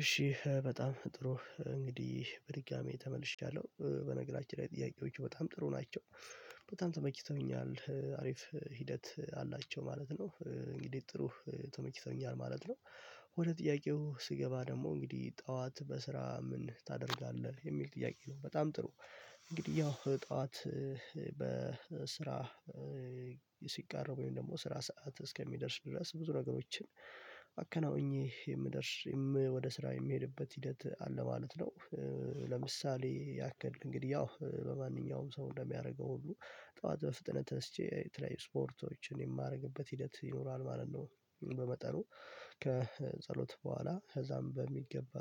እሺ በጣም ጥሩ እንግዲህ በድጋሚ ተመልሼያለሁ በነገራችን ላይ ጥያቄዎች በጣም ጥሩ ናቸው። በጣም ተመችተውኛል አሪፍ ሂደት አላቸው ማለት ነው እንግዲህ ጥሩ ተመችተኛል ማለት ነው። ወደ ጥያቄው ስገባ ደግሞ እንግዲህ ጠዋት በስራ ምን ታደርጋለህ? የሚል ጥያቄ ነው በጣም ጥሩ እንግዲህ ያው ጠዋት በስራ ሲቃረብ ወይም ደግሞ ስራ ሰዓት እስከሚደርስ ድረስ ብዙ ነገሮችን አከናውኜ የምደርስ ወደ ስራ የምሄድበት ሂደት አለ ማለት ነው። ለምሳሌ ያክል እንግዲህ ያው በማንኛውም ሰው እንደሚያደርገው ሁሉ ጠዋት በፍጥነት ተስቼ የተለያዩ ስፖርቶችን የማደርግበት ሂደት ይኖራል ማለት ነው። በመጠኑ ከጸሎት በኋላ ከዛም በሚገባ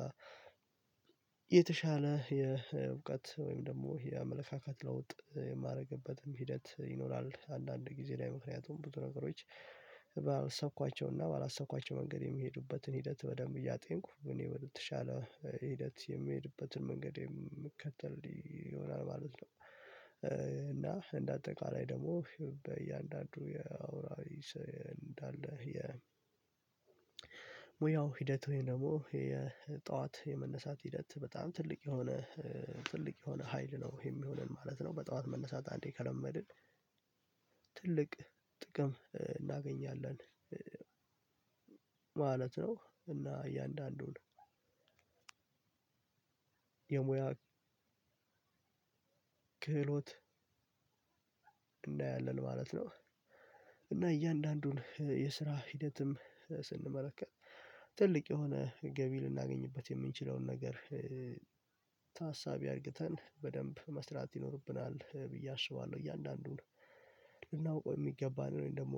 የተሻለ የእውቀት ወይም ደግሞ የአመለካከት ለውጥ የማደርግበትም ሂደት ይኖራል አንዳንድ ጊዜ ላይ ምክንያቱም ብዙ ነገሮች ባሰብኳቸውና ባላሰብኳቸው መንገድ የሚሄዱበትን ሂደት በደንብ እያጤንኩ እኔ በተሻለ ሂደት የምሄድበትን መንገድ የምከተል ይሆናል ማለት ነው። እና እንደ አጠቃላይ ደግሞ በእያንዳንዱ የአውራሪ እንዳለ የ የሙያው ሂደት ወይም ደግሞ የጠዋት የመነሳት ሂደት በጣም ትልቅ የሆነ ትልቅ የሆነ ሀይል ነው የሚሆነን ማለት ነው በጠዋት መነሳት አንዴ ከለመድን ትልቅ ጥቅም እናገኛለን ማለት ነው፤ እና እያንዳንዱን የሙያ ክህሎት እናያለን ማለት ነው። እና እያንዳንዱን የስራ ሂደትም ስንመለከት ትልቅ የሆነ ገቢ ልናገኝበት የምንችለውን ነገር አርግተን በደንብ መስራት ይኖርብናል ብዬ አስባለሁ እያንዳንዱን ልናውቀው የሚገባንን ደግሞ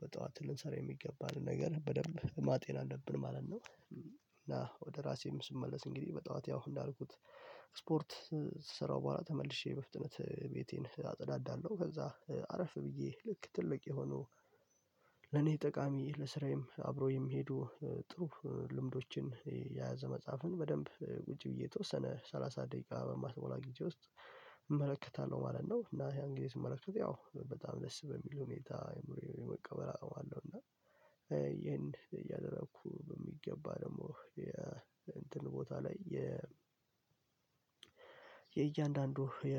በጠዋት ልንሰራ የሚገባንን ነገር በደንብ ማጤን አለብን ማለት ነው። እና ወደ ራሴም ስመለስ እንግዲህ በጠዋት ያው እንዳልኩት ስፖርት ስራው በኋላ ተመልሼ በፍጥነት ቤቴን አጸዳዳለሁ ከዛ አረፍ ብዬ ልክ ትልቅ የሆኑ ለኔ ጠቃሚ ለስራዬም አብሮ የሚሄዱ ጥሩ ልምዶችን የያዘ መጽሐፍን በደንብ ውጪ ብዬ የተወሰነ ሰላሳ ደቂቃ በማትሞላ ጊዜ ውስጥ እመለከታለሁ ማለት ነው እና ያን ጊዜ ስመለከት ያው በጣም ደስ በሚል ሁኔታ የመቀበል አቅም አለው እና ይሄን እያደረኩ በሚገባ ደግሞ የ እንትን ቦታ ላይ የ የእያንዳንዱ የ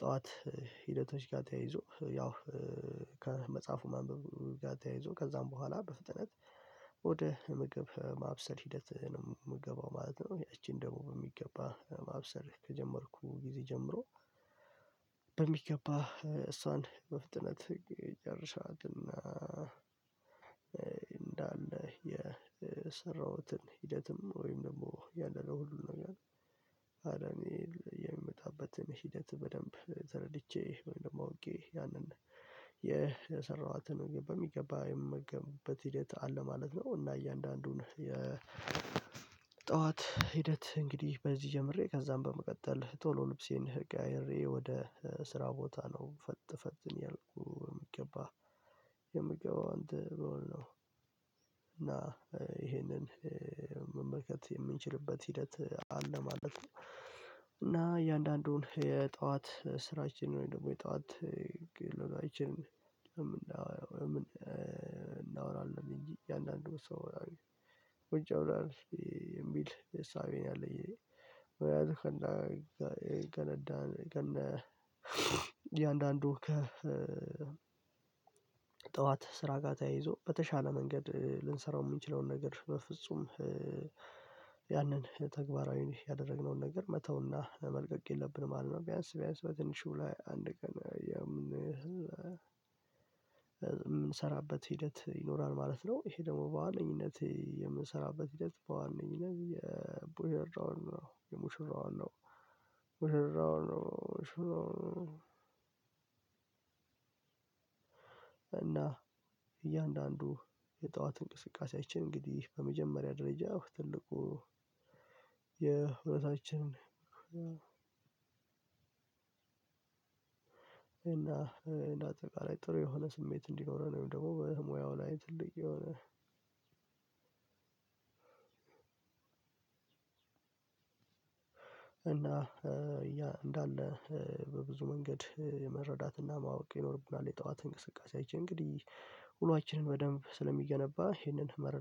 ጠዋት ሂደቶች ጋር ተያይዞ ያው ከመጽሐፉ ማንበብ ጋር ተያይዞ ከዛም በኋላ በፍጥነት ወደ ምግብ ማብሰል ሂደት ነው የምገባው ማለት ነው ያቺን ደግሞ በሚገባ ማብሰል ከጀመርኩ ጊዜ ጀምሮ በሚገባ እሷን በፍጥነት ይጨርሳትና እንዳለ የሰራሁትን ሂደትም ወይም ደግሞ ያለውን ሁሉንም ነገር ወደኔ የሚመጣበትን ሂደት በደንብ ተረድቼ እንደማውቄ ያንን የሰራኋትን በሚገባ የምገብበት ሂደት አለ ማለት ነው እና እያንዳንዱን የ ጠዋት ሂደት እንግዲህ በዚህ ጀምሬ ከዛም በመቀጠል ቶሎ ልብሴን ቀያይሬ ወደ ስራ ቦታ ነው ፈት ፈት ያልኩ የምገባ የምገባው አንተ በውል ነው እና ይሄንን መመልከት የምንችልበት ሂደት አለ ማለት ነው እና እያንዳንዱን የጠዋት ስራችንን ወይም ደግሞ የጠዋት ግል ውሎአችንን እናወራለን እናወራለን እንጂ እያንዳንዱ ሰው ውጭ አውራለሁ የሚል እሳቤነው ያለኝ እኔ ወይ ያዝክላ ገለዳን ከነ እያንዳንዱ ከ ጠዋት ስራ ጋር ተያይዞ በተሻለ መንገድ ልንሰራው የሚችለውን ነገር በፍጹም ያንን ተግባራዊ ያደረግነውን ነገር መተውና መልቀቅ የለብንም ማለት ነው ቢያንስ ቢያንስ በትንሹ ላይ አንድ ቀን የምንሰራበት ሂደት ይኖራል ማለት ነው ይሄ ደግሞ በዋነኝነት የምንሰራበት ሂደት በዋነኝነት የቦሄርዳውን ነው ሙሽራውን ነው ሙሽራውን ነው እና እያንዳንዱ የጠዋት እንቅስቃሴያችን እንግዲህ በመጀመሪያ ደረጃ ትልቁ የህይወታችንን እና እንደ አጠቃላይ ጥሩ የሆነ ስሜት እንዲኖረን ወይም ደግሞ ሙያው ላይ ጥልቅ የሆነ እና እንዳለ በብዙ መንገድ የመረዳትና ማወቅ ይኖርብናል የጠዋት እንቅስቃሴ አይቼ እንግዲህ ውሏችንን በደንብ ስለሚገነባ ይህንን